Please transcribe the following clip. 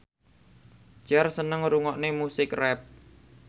Cher seneng ngrungokne musik rap